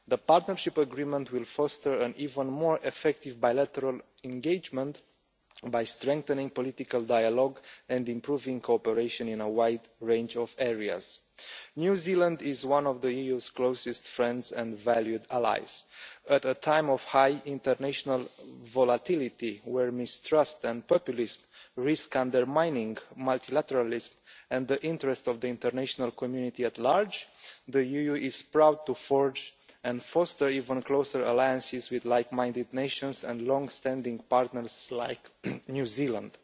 The Partnership Agreement will foster an even more effective bilateral engagement by strengthening political dialogue and improving cooperation in a wide range of areas. New Zealand is one of the EU's closest friends and valued allies. At a time of high international volatility, where mistrust and populists risk undermining multilateralism and the interest of the international community at large, the EU is proud to forge and foster even closer alliances with like minded nations and long standing partners like New Zealand.